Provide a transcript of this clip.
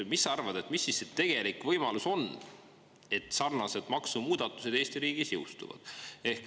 Mis sa arvad, mis siis see tegelik võimalus on, et sarnaselt maksumuudatused Eesti riigis jõustuvad?